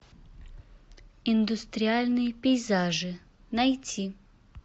индустриальные пейзажи найти